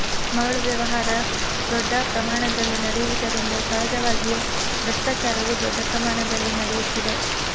ಮರಳು ವ್ಯವಹಾರ ದೊಡ್ಡ ಪ್ರಮಾಣದಲ್ಲಿ ನಡೆಯುವುದರಿಂದ ಸಹಜವಾಗಿಯೇ ಭ್ರಷ್ಟಾಚಾರವೂ ದೊಡ್ಡ ಪ್ರಮಾಣದಲ್ಲಿ ನಡೆಯುತ್ತಿದೆ